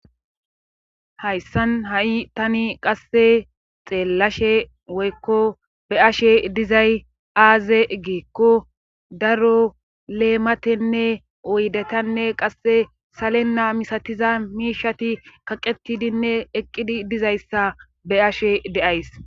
Hayssan ha7i tani qasse xeellashe woykko be ashe dizay aaze giikko daro leematenne oydetanne qasse salenna misatiza miishati kaqetidinne eqqidi dizayssa be ashe deays